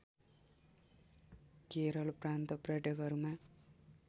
केरल प्रान्त पर्यटकहरूमा